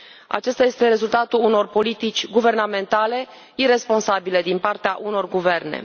Acesta este rezultatul unor politici guvernamentale iresponsabile din partea unor guverne.